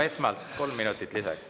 Esmalt kolm minutit lisaks.